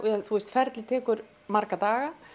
ferlið tekur marga daga